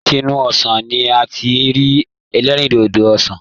Látìnù ọsán ní a tí n rí elerindodo ọsán.